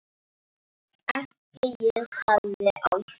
Ekki ég sagði Áslaug.